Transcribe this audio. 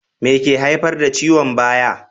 Me ke haifar da ciwon baya?